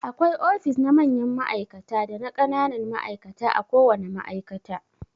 Akwai ofis na mayan ma'aikata dana ƙananan ma'aikata a ko wana ma'aikata.